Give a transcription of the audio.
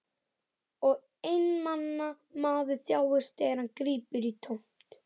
Og einmana maður þjáist þegar hann grípur í tómt.